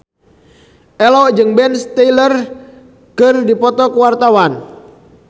Ello jeung Ben Stiller keur dipoto ku wartawan